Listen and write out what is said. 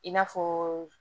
I n'a fɔ